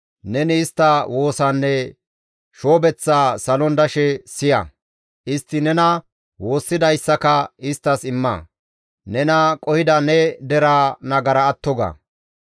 neni istta woosaanne shoobeththaa salon dashe siya. Istti nena woossidayssaka isttas imma; nena qohida ne deraa nagara atto ga.